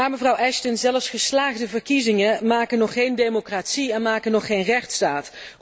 Maar, mevrouw Ashton, zelfs geslaagde verkiezingen maken nog geen democratie en maken nog geen rechtsstaat.